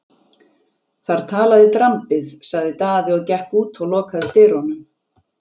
Þar talaði drambið, sagði Daði og gekk út og lokaði dyrunum.